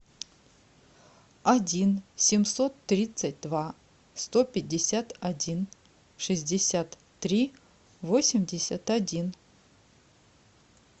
один семьсот тридцать два сто пятьдесят один шестьдесят три восемьдесят один